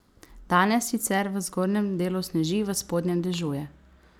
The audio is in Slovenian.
Danes sicer v zgornjem delu sneži, v spodnjem dežuje.